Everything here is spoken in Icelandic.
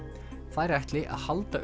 þær ætli að halda